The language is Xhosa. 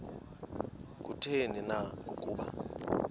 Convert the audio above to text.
kutheni na ukuba